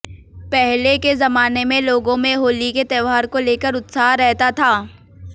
पहले के जमाने मे लोगों में होली के त्योहार को लेकर उत्साह रहता था